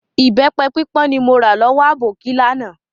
Ìbẹpẹ pípọ́n ni mo ra lọ́wọ́ aboki láánaà